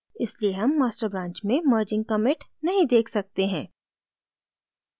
इसलिए हम master branch में merging commit नहीं देख सकते हैं